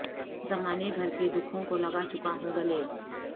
زمانے بھر کے دکھوں کو لگا چکا ہوں گلے